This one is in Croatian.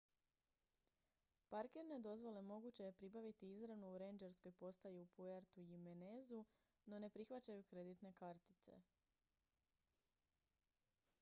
parkirne dozvole moguće je pribaviti izravno u rendžerskoj postaji u puerto jiménezu no ne prihvaćaju kreditne kartice